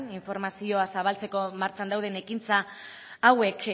informazioa zabaltzeko martxan dauden ekintza hauek